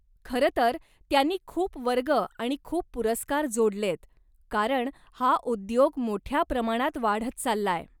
खरं तर त्यांनी खूप वर्ग आणि खूप पुरस्कार जोडलेयत, कारण हा उद्योग मोठ्या प्रमाणात वाढत चाललाय.